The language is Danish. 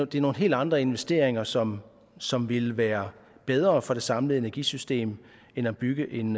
det er nogle helt andre investeringer som som ville være bedre for det samlede energisystem end at bygge en